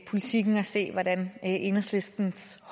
af enhedslisten